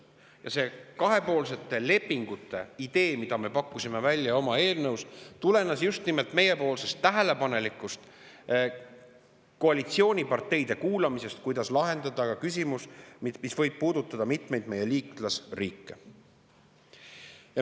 Ja see kahepoolsete lepingute idee, mille me pakkusime välja oma eelnõus, tulenes just nimelt meie tähelepanelikust koalitsiooniparteide kuulamisest, kuidas lahendada küsimus, mis võib puudutada mitmeid meie liitlasriike.